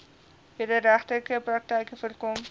wederregtelike praktyke voorkom